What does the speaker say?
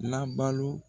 Labalo